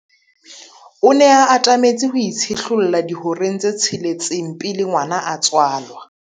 O ne a atametse ho itshihlolla dihoreng tse tsheletseng pele ngwana a tswalwa.